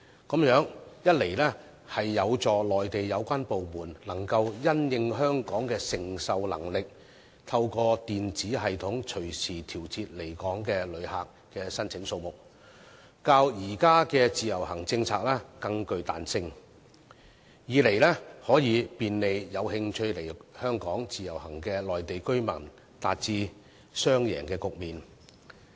這樣一方面有助內地有關部門可因應香港的承受能力，透過電子系統隨時調節來港旅客的申請數目，較現時的自由行政策更具彈性，另一方面亦可便利有興趣來港自由行的內地居民，從而達致雙贏的局面。